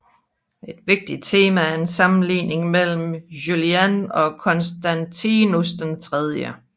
Et vigtigt tema er en sammenligning mellem Julian og Konstantius III